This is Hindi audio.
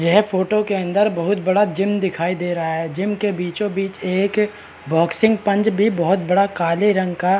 यह फोटो के अंदर बहुत बड़ा जिम दिखाई दे रहा है जिम के बीचो-बीच एक बॉक्सिंग पंच भी बहोत बड़ा काले रंग का --